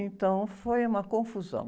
Então, foi uma confusão.